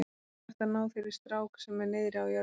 Þú þarft að ná þér í strák sem er niðri á jörðinni.